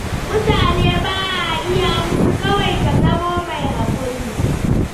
Mutane ba a iya musu. Kawai ka zamo mai haƙuri.